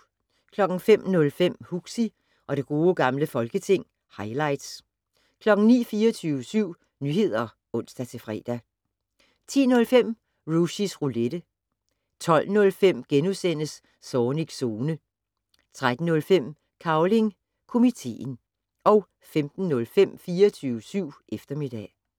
05:05: Huxi og det gode gamle folketing - highlights 09:00: 24syv Nyheder (ons-fre) 10:05: Rushys Roulette 12:05: Zornigs Zone * 13:05: Cavling Komiteen 15:05: 24syv eftermiddag